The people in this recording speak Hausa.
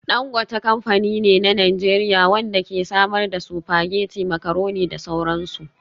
Dangote kamfani ne na Najeriya wanda ke samar da spaghetti, macaroni da sauran su.